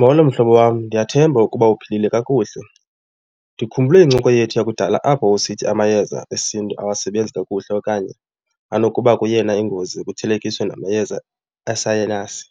Molo mhlobo wam, ndiyathemba ukuba uphilile kakuhle. Ndikhumbule incoko yethu yakudala apho wawusithi amayeza esiNtu awasebenzi kakuhle okanye anokuba kuyena ingozi kuthelekiswa namayeza esayinasi.